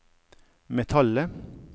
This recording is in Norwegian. metallet